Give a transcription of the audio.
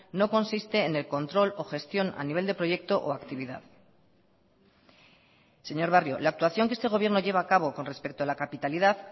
no consiste en el control o gestión a nivel de proyecto o actividad señor barrio la actuación que este gobierno lleva a cabo con respecto a la capitalidad